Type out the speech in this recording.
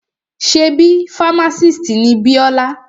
Ṣebí fámásìst ni Bíọ́lá?